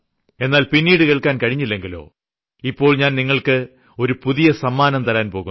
എന്നാൽ പിന്നീട് കേൾക്കാൻ കഴിഞ്ഞില്ലെങ്കിലോ ഇപ്പോൾ ഞാൻ നിങ്ങൾക്ക് ഒരു പുതിയ സമ്മാനം തരാൻ പോകുന്നു